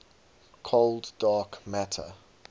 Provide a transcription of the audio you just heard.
cold dark matter